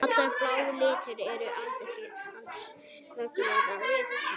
Allur blái liturinn endurkastast hins vegar af vatninu.